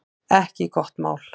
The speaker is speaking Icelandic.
Ekki gott mál